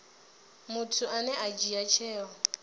muthu ane a dzhia tsheo